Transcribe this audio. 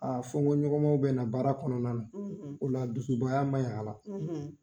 fɔnkɔɲɔgɔnmaw bɛ na baara kɔnɔna na o la dusubaya ma ɲi a la.